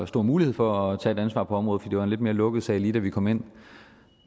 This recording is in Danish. stor mulighed for at tage et ansvar på området for det var en lidt mere lukket sag lige da vi kom ind